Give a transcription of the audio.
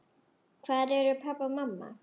Hvar eru pabbi og mamma?